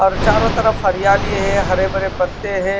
और चारों तरफ हरियाली है हरे भरे पत्ते हैं।